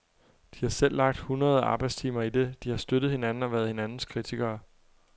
De har selv lagt hundreder af arbejdstimer i det, de har støttet hinanden og været hinandens kritikere.